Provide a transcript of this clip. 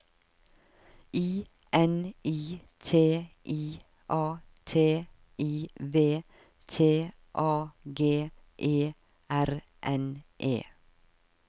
I N I T I A T I V T A G E R N E